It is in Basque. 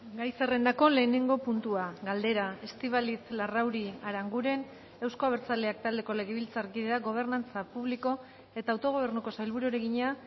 gai zerrendako lehenengo puntua galdera estíbaliz larrauri aranguren euzko abertzaleak taldeko legebiltzarkideak gobernantza publiko eta autogobernuko sailburuari egina